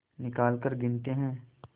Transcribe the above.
निकालकर गिनते हैं